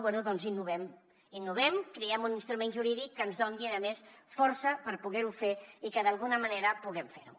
bé doncs innovem innovem creem un instrument jurídic que ens doni a més força per poder ho fer i que d’alguna manera puguem fer ho